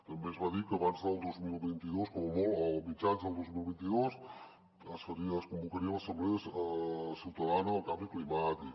també es va dir que abans del dos mil vint dos o com a molt a mitjans del dos mil vint dos es convocaria l’assemblea ciutadana del canvi climàtic